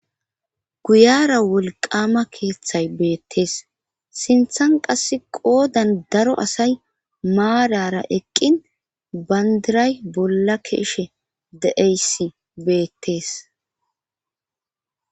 guyara wolqama keeththay beettees sinthan qass qoodan daro asay maarara eqqin bandiray bolla ke'ishe de7eysi beettees